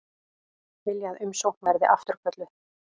Vilja að umsókn verði afturkölluð